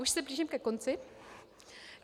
Už se blížím ke konci.